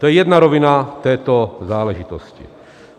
To je jedna rovina této záležitosti.